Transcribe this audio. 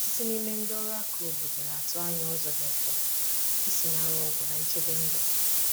Ọtụtụ n’ime ndị ọrụ aka obodo na atụ anya ụzọ dị mfe isi nara ọgwụ na nchebe ndu.